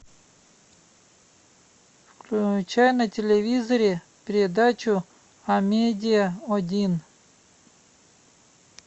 включай на телевизоре передачу амедиа один